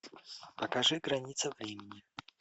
покажи граница времени